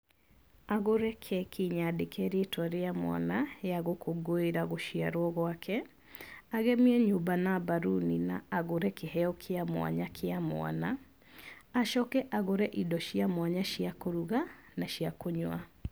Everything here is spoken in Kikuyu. Agũre keki nyandĩke rĩtwa rĩa mwana, ya gũkũngũĩra gũciarwo gwake, agemie nyũmba na mbaruni na agũre kĩheo kĩa mwanya kĩa mwana, acoke agũre indo cia mwanya cia kũruga na cia kũnyua.